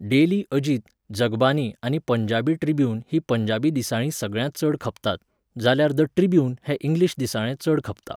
Daily Ajit, Jagbani आनी Punjabi Tribune हीं पंजाबी दिसाळीं सगळ्यांत चड खपतात, जाल्यार 'द ट्रिब्यून' हें इंग्लीश दिसाळें चड खपता.